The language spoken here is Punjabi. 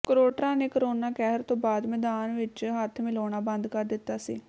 ਕ੍ਰੋਟਰਾਂ ਨੇ ਕੋਰੋਨਾ ਕਹਿਰ ਤੋਂ ਬਾਅਦ ਮੈਦਾਨ ਵਿਚ ਹੱਥ ਮਿਲਾਉਣਾ ਬੰਦ ਕਰ ਦਿੱਤਾ ਸੀ